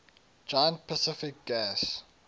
giant pacific gas